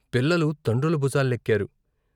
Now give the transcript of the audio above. పిల్లలు తండ్రుల బుజాలెక్కారు.